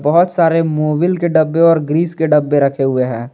बहोत सारे मोबिल के डब्बे और ग्रीस के डब्बे रखे हुए हैं।